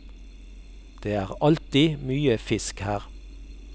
Det er alltid mye fisk her.